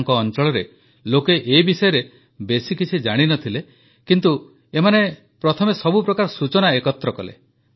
ତାଙ୍କ ଅଂଚଳରେ ଲୋକେ ଏ ବିଷୟରେ ବେଶୀ କିଛି ଜାଣିନଥିଲେ କିନ୍ତୁ ଏମାନେ ପ୍ରଥମେ ସବୁ ପ୍ରକାର ସୂଚନା ଏକତ୍ରିତ କଲେ